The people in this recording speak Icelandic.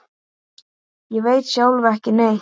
Ég veit sjálf ekki neitt.